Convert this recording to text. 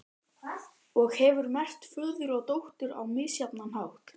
Og hefur merkt föður og dóttur á misjafnan hátt.